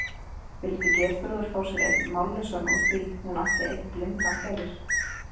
Vildi Geirþrúður fá sér einn mállausan úr því hún átti einn blindan fyrir?